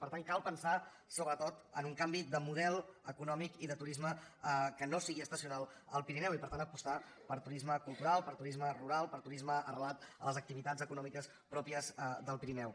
per tant cal pensar sobretot en un canvi de model econòmic i de turisme que no sigui estacional al pirineu i per tant apostar per turisme cultural per turisme rural per turisme arrelat a les activitats econòmiques pròpies del pirineu